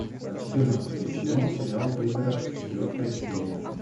четырнадцатый сезон сериал пригород четвертая серия